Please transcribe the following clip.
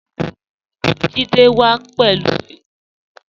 Jídẹ̀ wà pẹ̀lú ìkoro